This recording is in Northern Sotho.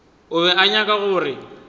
o be a nyaka gore